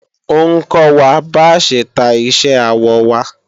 Ó ń kọ́ wa bá ṣe ta iṣẹ́ awọ wa